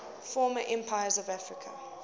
former empires of africa